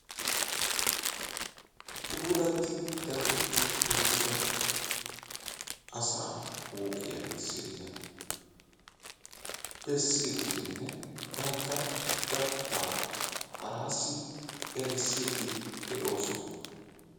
puulatti daxetti uttida asaa huuphiya misiliya bessiiddinne bantta dattaa haraassi erissiiddi de'oosona.